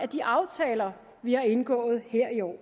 de aftaler vi har indgået her i år